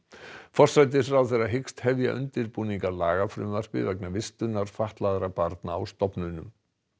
forsætisráðherra hyggst hefja undirbúning að lagafrumvarpi vegna vistunar fatlaðra barna á stofnunum